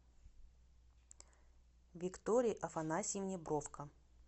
виктории афанасьевне бровко